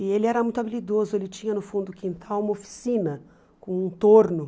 E ele era muito habilidoso, ele tinha no fundo do quintal uma oficina com um torno.